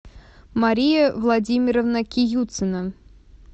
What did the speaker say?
мария владимировна киюцина